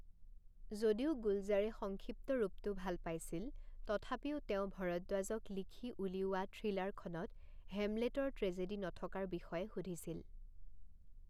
যদিও গুলজাৰে সংক্ষিপ্ত ৰূপটো ভাল পাইছিল, তথাপিও তেওঁ ভৰদ্বাজক লিখি উলিওৱা থ্ৰিলাৰখনত হেমলেটৰ ট্ৰেজেডী নথকাৰ বিষয়ে সুধিছিল।